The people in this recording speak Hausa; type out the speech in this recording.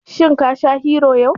Shin ka sha Hero yau?